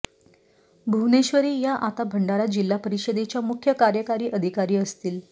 भुवनेश्वरी या आता भंडारा जिल्हा परिषदेच्या मुख्य कार्यकारी अधिकारी असतील